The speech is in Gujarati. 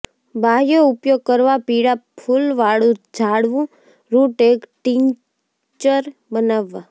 બાહ્ય ઉપયોગ કરવા પીળા ફૂલવાળું ઝાડવું રુટ એક ટિંકચર બનાવવા